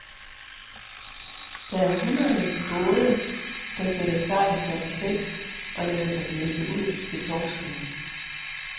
Der er hundrede både, der sætter sejl klokken seks og lader sig blæse ud til torskene.